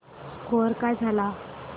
score काय झाला